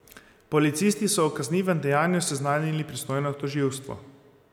Policisti so o kaznivem dejanju seznanili pristojno tožilstvo.